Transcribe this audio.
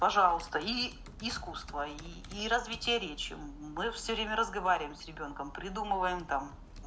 пожалуйста и искусства и развития речи мы всё время разговариваем с ребёнком придумываем там